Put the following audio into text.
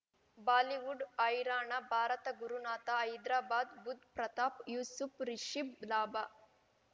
Bollywood ಹೈರಾಣ ಭಾರತ ಗುರುನಾಥ ಹೈದ್ರಾಬಾದ್ ಬುಧ್ ಪ್ರತಾಪ್ ಯೂಸುಫ್ ರಿಷಬ್ ಲಾಭ